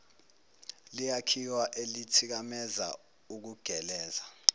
liyakhiwa elithikameza ukugeleza